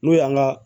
N'o y'an ka